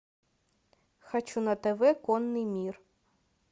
хочу на тв конный мир